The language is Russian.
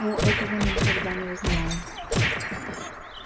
о этого мы никогда не узнаем